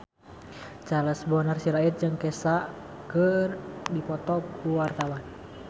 Charles Bonar Sirait jeung Kesha keur dipoto ku wartawan